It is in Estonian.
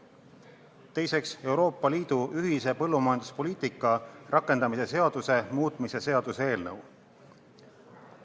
Teiseks, Euroopa Liidu ühise põllumajanduspoliitika rakendamise seaduse muutmise seaduse eelnõu.